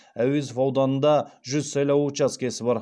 әуезов ауданында жүз сайлау учаскесі бар